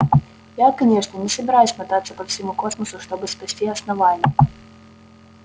я конечно не собираюсь мотаться по всему космосу чтобы спасти основание